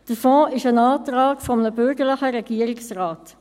– Der Fonds ist ein Antrag eines bürgerlichen Regierungsrates.